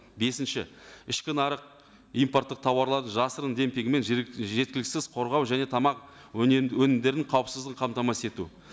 бесінші ішкі нарық импорттық тауарларды жасырын демпингімен жеткіліксіз қорғау және тамақ өнімдерінің қауіпсіздігін қамтамасыз ету